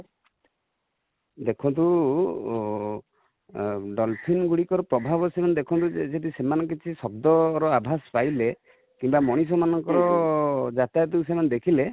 ଦେଖନ୍ତୁ dolphin ଗୁଡ଼ି କର ପ୍ରଭାବ ଦେଖୁ ନାହାନ୍ତି ସେମାନେ ଯଦି କିଛି ଶବ୍ଦ ର ଆଭାସ ପାଇଲେ, କିମ୍ବା ମଣିଷ ମାନଙ୍କର ଯାତାୟାତ ସେ ମାନେ ଦେଖିଲେ,